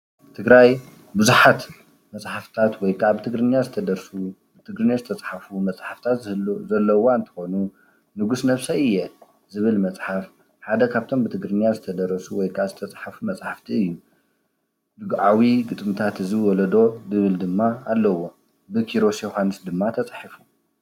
ትግራይ ቡዙሓት መፅሓፍታት ወይ ከዓ ብትግርኛ ዝተደርሱ ብትግርኛ ዝተፃሓፉ መፅሓፈታት ዘለዎ እንትኮኑ ንጉስ ነብሰይ እየ ዝብል ምፅሓፍ ሓደ ካብቶም ብትግርኛ ዝተደረሱ ዝተፃሓፉ መፅሓፍቲ እዩ፡፡ ድጉዓዊ ግጥምታት እዚ ወለዶ ዝብል ድማ ኣለዎ ብኪሮስ ዮዉሃንስ ድማ ተፃሒፉ ፡፡